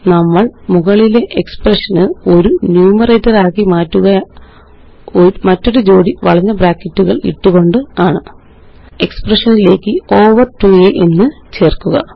നമ്മള് മുകളിലെ എക്സ്പ്രഷന് ഒരു ന്യൂമറേറ്ററാക്കുക മറ്റൊരുജോടി വളഞ്ഞ ബ്രാക്കറ്റുകള് ഇട്ടുകൊണ്ടാണ് എക്സ്പ്രഷനിലേയ്ക്ക്over 2അ എന്ന് ചേര്ക്കുക